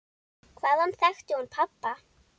Hvaðan þekkti hún pabba?